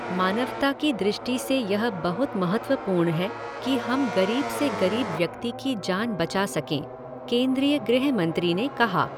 मानवता कि दॄष्टि से यह बहुत महत्वपूर्ण है कि हम गरीब से गरीब व्यक्ति की जान बचा सकें, केंद्रीय गृह मंत्री ने कहा